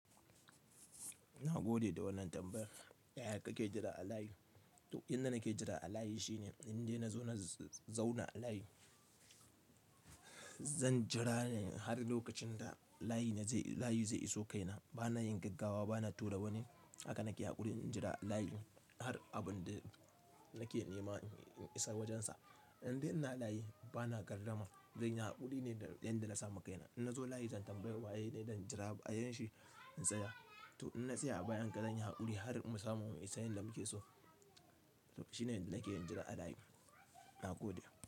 Ina gode da wannan tambayar. Yaya ka ke jira a layi? To inda nake jira a layi shine indai na zo na zauna a layi. Zan jira ne har lokacin da layi zai iso kaina. Bana yin gaggawa, bana tura wani. Haka nake haƙuri in jira layi, har abunda nake nema in isa wurinsa. Indai ina layi bana gardama zanyi haƙuri ne da yanda na sa ma kai na. In na zo layi zan tambayi waye ne ɗan jira a bayan shi in tsaya. To in na tsaya a bayan ka zanyi haƙuri har mu samu in san yanda muke so. To shine inda nake jira a layi. Na gode.